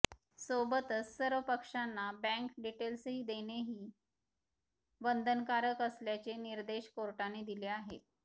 सोबतच सर्व पक्षांना बँक डिटेल्सही देणेही बंधनकारक असल्याचे निर्देश कोर्टाने दिले आहेत